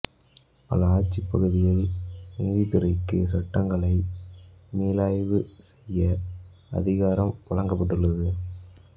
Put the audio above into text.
பல ஆட்சிப்பகுதிகளில் நீதித்துறைக்கு சட்டங்களை மீளாய்வு செய்ய அதிகாரம் வழங்கப்பட்டுள்ளது